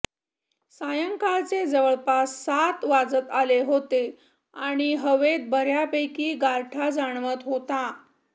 सायंकाळचे जवळपास सात वाजत आले होते आणि हवेत बऱ्यापैकी गारठा जाणवत होता